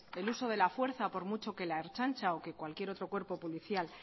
el uso de la fuerza por mucho que la ertzaintza o que cualquier otro grupo policial